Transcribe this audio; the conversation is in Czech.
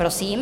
Prosím.